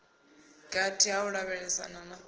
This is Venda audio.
gathi ha u lavhelesana na